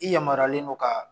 I yamaruyalen don ka